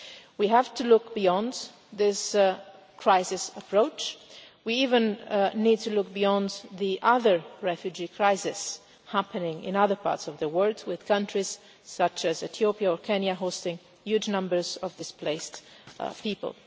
We have to look beyond this crisis approach. We even need to look beyond the other refugee crises happening in other parts of the world, with countries such as Ethiopia or Kenya hosting huge numbers of displaced people.